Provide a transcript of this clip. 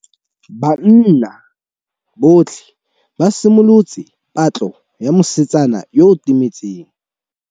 Banna botlhê ba simolotse patlô ya mosetsana yo o timetseng.